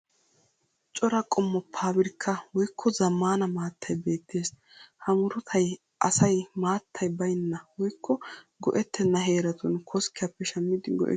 Cora qommo fabirika woyikko zaammanna maattayi beettees. Ha murutayi asay maattay bayinna woyikko go'ettenna heeratun koskkiyappe shammidi go'ettiyo muruta qommo.